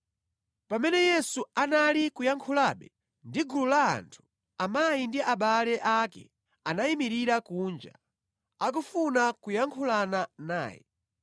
Pamene Yesu anali kuyankhulabe ndi gulu la anthu, amayi ndi abale ake anayimirira kunja, akufuna kuyankhulana naye.